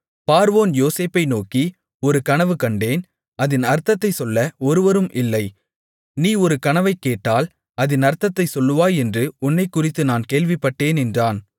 பார்வோன் யோசேப்பை நோக்கி ஒரு கனவு கண்டேன் அதின் அர்த்தத்தைச் சொல்ல ஒருவரும் இல்லை நீ ஒரு கனவைக் கேட்டால் அதின் அர்த்தத்தைச் சொல்லுவாய் என்று உன்னைக்குறித்து நான் கேள்விப்பட்டேன் என்றான்